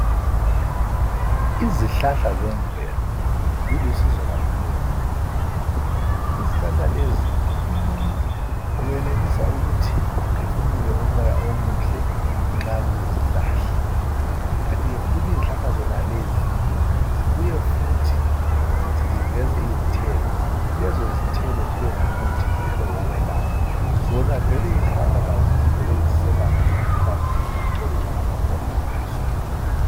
Izihlahla zemvelo, zilusizo kakhulu emuntwini. Izihlahla lezi, umuntu wenelisa ukuthi aphefumule umoya omuhle nxa kulezihlahla. Kanti ke futhi izihlahla zonalezi, zibuye futhi ziveze izithelo, lezo zithelo zibe ngumuthi zelo wokwelapha. Zona vele izihlahla lazo zivele ziselapha ngamahlamvu, ngamaxolo, langabatwana bazo.